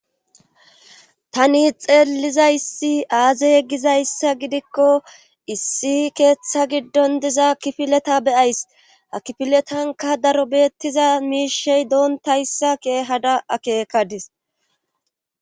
Tani xeeliza issi aaze ye gizayssa gidikko issi keeththa giddon diza kifileta beyays ha kifiletanka daro beettiza miishey doontayssa keehada akeekadis.